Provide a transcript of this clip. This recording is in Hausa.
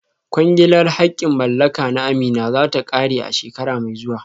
Kwangilar haƙƙin mallaka na Amina za ta ƙare a shekara mai zuwa